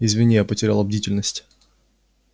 извини я потеряла бдительность